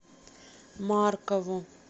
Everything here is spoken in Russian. маркову